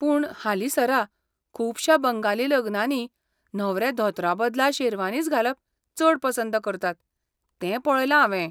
पूण, हालींसरा, खुबश्या बंगाली लग्नांनी न्हवरे धोतराबदला शेरवानीच घालप चड पसंत करतात ते पळयलां हांवें.